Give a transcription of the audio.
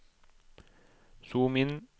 zoom inn